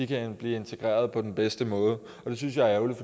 kan blive integreret på den bedste måde det synes jeg er ærgerligt